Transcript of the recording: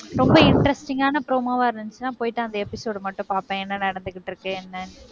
ரொம்ப interesting ஆன promo வா இருந்துச்சுன்னா, போயிட்டு அந்த episode மட்டும் பார்ப்பேன். என்ன நடந்துகிட்டு இருக்கு, என்னனு